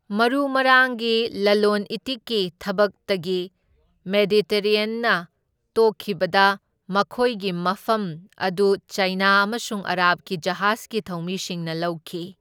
ꯃꯔꯨ ꯃꯔꯥꯡꯒꯤ ꯂꯂꯣꯟ ꯏꯇꯤꯛꯀꯤ ꯊꯕꯛꯇꯒꯤ ꯃꯦꯗꯤꯇꯦꯔꯦꯅ꯭ꯌꯟꯅ ꯇꯣꯛꯈꯤꯕꯗ ꯃꯈꯣꯏꯒꯤ ꯃꯐꯝ ꯑꯗꯨ ꯆꯥꯏꯅꯥ ꯑꯃꯁꯨꯡ ꯑꯔꯥꯕꯀꯤ ꯖꯍꯥꯖꯒꯤ ꯊꯧꯃꯤꯁꯤꯡꯅ ꯂꯧꯈꯤ꯫